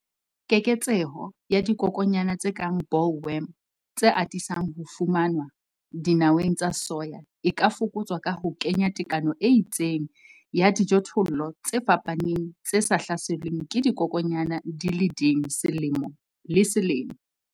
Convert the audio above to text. Keketseho ya dikokwanyana tse kang boll worm tse atisang ho fumanwa dinaweng tsa soya e ka fokotswa ka ho kenya tekano e itseng ya dijothollo tse fapaneng tse sa hlaselweng ke dikokwanyana di le ding selemo le selemo.